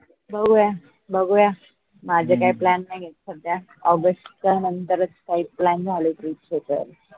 बघूया बघूया माझे काही plan नाई आहे सध्या August नंतरच काही plan झाले त